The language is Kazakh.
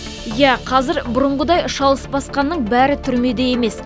иә қазір бұрынғыдай шалыс басқанның бәрі түрмеде емес